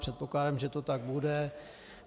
Předpokládám, že to tak bude.